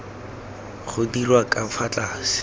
go dirwa ka fa tlase